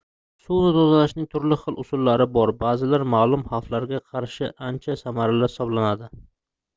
suvni tozalashning turli xil usullari bor baʼzilari maʼlum xavflarga qarshi ancha samarali hisoblanadi